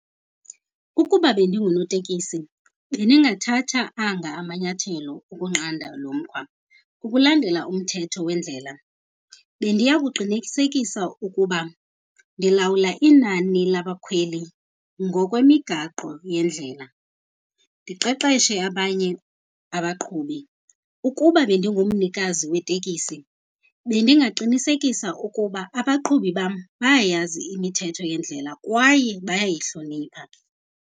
Ukuba bendingunotekisi bendingathatha anga amanyathelo ukunqanda lomkhwa. Ukulandela umthetho wendlela, bendiya kuqinisekisa ukuba ndilawula inani labakhweli ngokwemigaqo yendlela, ndiqeqeshe abanye abaqhubi. Ukuba bendingumnikazi wetekisi, bendingaqinisekisa ukuba abaqhubi bam bayayazi imithetho yendlela kwaye bayayihlonipha.